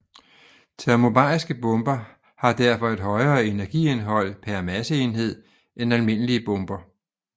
Termobariske bomber har derfor et højere energiindhold per masseenhed end almindelige bomber